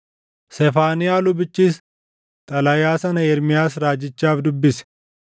Sefaaniyaa lubichis xalayaa sana Ermiyaas raajichaaf dubbise.